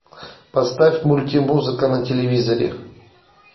поставь мульти музыка на телевизоре